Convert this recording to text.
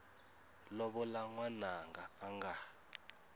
lovola n wananga a nga